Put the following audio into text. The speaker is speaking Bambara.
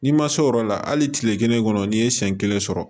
N'i ma se o yɔrɔ la hali tile kelen kɔnɔ n'i ye siɲɛ kelen sɔrɔ